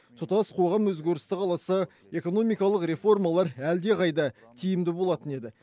тұтас қоғам өзгерісті қаласа экономикалық реформалар әлдеқайда тиімді болатын еді